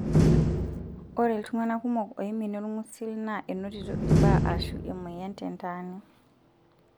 Ore iltung'ana kumok oiminie olng'usil naa enotito ilbaa aashu emoyian tentaani.